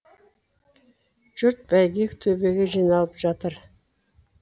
жұрт бәйге төбеге жиналып жатыр